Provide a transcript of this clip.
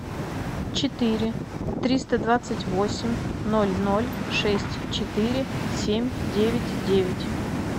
четыре триста двадцать восемь ноль ноль шесть четыре семь девять девять